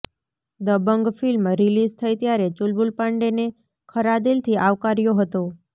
Dabangg film release થઇ ત્યારે ચુલબુલ પાંડેને ખરા દિલથી આવકાર્યો હતો